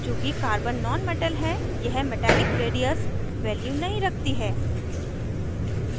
चूँकि carbon nonmetal है यह metallic radius value नहीं रखती है